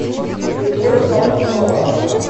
любовь попцова